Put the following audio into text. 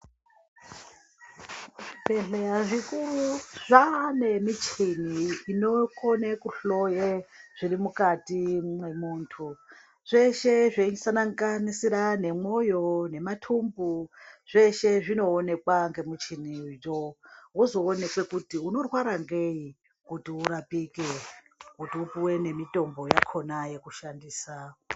Zvibhedhleya zvikuru zvane michini inokone kuhloye zviri mukati mwemuntu. Zvese zveisanganisira nemoyo nematumbu zveshe zvinoonekwa ngemuchiniyo vozoonekwe kuti unorwara ngei kuti urapike, kuti upive nemitombo yakona yekushandisa.